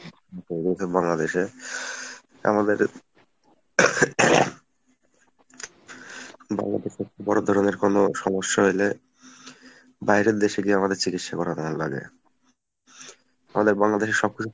এইদিকে বাংলাদেশে আমাদের বাংলাদেশের বড় ধরণের সমস্যা হইলে বাইরের দেশে গিয়ে আমাদের চিকিৎসা করানো লাগে। আমাদের বাংলাদেশে সবকিছু